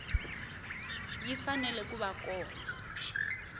yi fanele ku va kona